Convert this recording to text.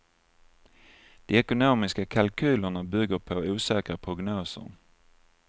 De ekonomiska kalkylerna bygger på osäkra prognoser.